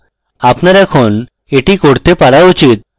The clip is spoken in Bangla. আপনার এখন এটি করতে পারা উচিত